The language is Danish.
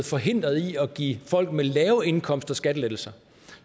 forhindret i at give folk med lave indkomster skattelettelser